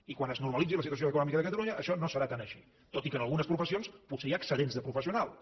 i quan es normalitzi la situació econòmica de catalunya això no serà tan així tot i que en algunes professions potser hi ha excedents de professionals